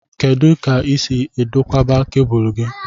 Kedụ ka i si edokwaba cabúlú gị?